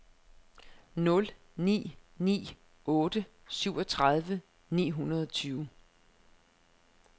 nul ni ni otte syvogtredive ni hundrede og tyve